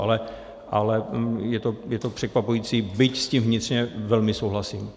Ale je to překvapující, byť s tím vnitřně velmi souhlasím.